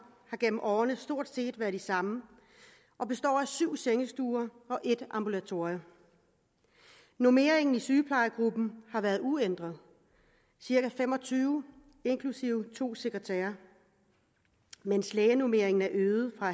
har gennem årene stort set været de samme og består af syv sengestuer og et ambulatorium normeringen i sygeplejegruppen har været uændret cirka fem og tyve inklusive to sekretærer mens lægenormeringen er øget fra